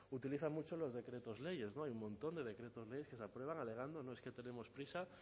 utiliza mucho los decretos leyes no hay un montón de decretos leyes que se aprueban alegando no es que tenemos prisa